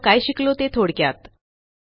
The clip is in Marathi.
आपण काय शिकलो ते थोडक्यात